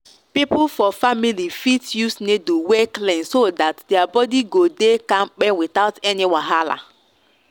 people for family fit use needle wey clean so that their body go dey go dey kampe without any wahala.